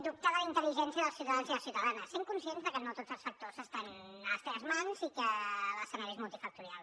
dubte de la intel·ligència dels ciutadans i ciutadanes sent conscients que no tots els factors estan a les teves mans i que l’escenari és multifactorial